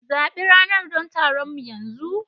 Zabi rana don taronmu yanzu!